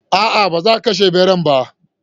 A'a, ba za a kashe ɓeran ba.